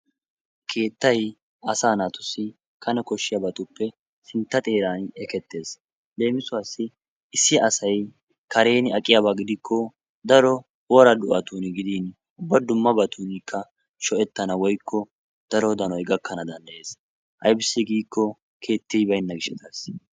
Keettayi asaa naatussi kane koshshiyabatuppe sintta xeeran ekettes. Leemisuwaassi issi asayi karen aqiyaba gidikko daro woraa do7atuuna gidin ubba dummabatuunikka sho"ettana woykko daro danoyi gakkana danddayes ayibissi giikko keetti baynna gishshataassi.